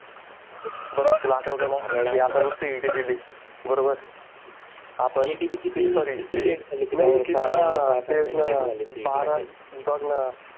बघ तुला आठवतं ना की आपण CET दिली बरोबर बारा बघ ना